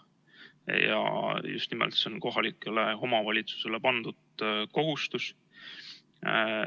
Ja just nimelt see on kohalikele omavalitsustele pandud kohustus.